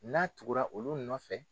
N'a tugura olu nɔfɛ